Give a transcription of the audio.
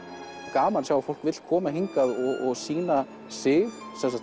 gaman að fólk vill koma hingað og sýna sig